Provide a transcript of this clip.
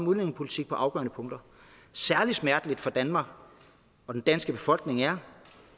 udlændingepolitik på afgørende punkter særlig smerteligt for danmark og den danske befolkning er